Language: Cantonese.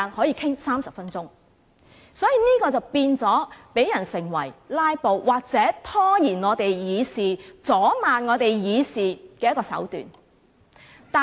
因此，提出中止待續議案成為"拉布"或拖延立法會議事、阻礙立法會議事的手段。